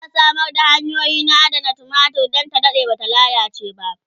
za'a Samar da hanyoyi na adanar tumatir Dan ta Dade Bata lallace ba